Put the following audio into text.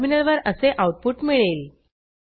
टर्मिनलवर असे आऊटपुट मिळेल